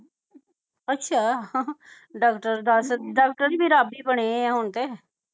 ਅੱਛਾ ਡਾਕਟਰ ਦਸ ਡਾਕਟਰ ਤੇ ਰਬ ਹੀ ਬਣੇ ਹੁਣ ਤੇ